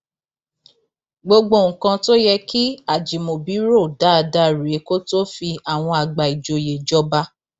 gbogbo nǹkan tó yẹ kí ajimobi rò dáadáa rèé kó tóó fi àwọn àgbà ìjòyè jọba